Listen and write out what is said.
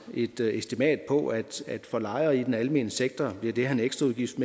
et estimat på at for lejere i den almene sektor bliver det her en ekstra udgift